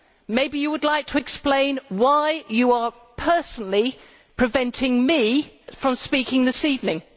Maybe you would like to explain why you are personally preventing me from speaking this evening.